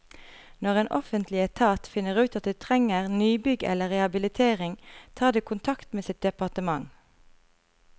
Når en offentlig etat finner ut at det trenger nybygg eller rehabilitering, tar det kontakt med sitt departement.